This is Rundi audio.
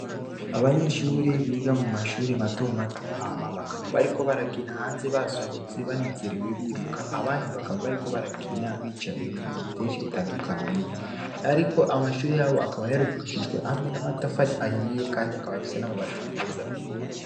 Abanyeshure biga mumashure mato mato hama bakaba bariko barakina hanze basohotse banezerewe biruka, abandi bakaba bariko barakina bicaye mubitu vyinshi bitandukanye .Ariko amashure yabo akaba yarubakishijwe amwe n’amatafari ahiye Kandi akaba afise n’amabati meza.